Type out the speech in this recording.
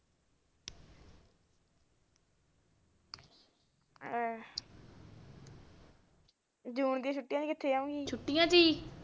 ਜੂਨ ਦੀਆਂ ਛੁਟੀਆਂ ਚ ਕਿੱਥੇ ਜਾਉਗੀ